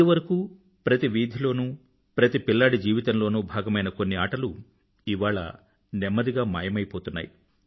ఇదివరకూ ప్రతి వీధి లోనూ ప్రతి పిల్లాడి జీవితంలోనూ భాగమయిన కొన్ని ఆటలు ఇవాళ నెమ్మదిగా మాయమైపోతున్నాయి